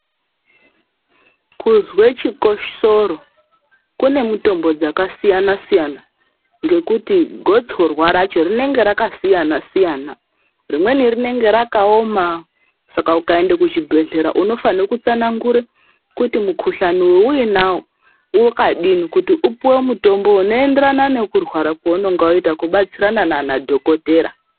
Kuzwe chikosoro kune mitombo dzakasiyana-siyana ngekuti gotsorwa racho rinenge rakasiyana-siyana; rimweni rinenge rakaoma saka ukaende kuchibhedhlera unofanhe kutsanangura kuti mukhuhlane weuinawo wakadini kuti upuwe mutombo unoenderana nekurwara kweunonga waita kubatsirana nanadhokothera.